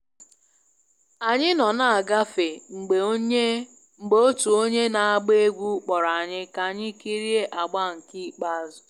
Anyị nọ na-agafe mgbe otu onye na-agba egwú kpọrọ anyị ka anyị kirie agba nke ikpeazụ